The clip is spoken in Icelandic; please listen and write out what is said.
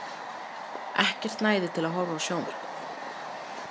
Ekkert næði til að horfa á sjónvarpið.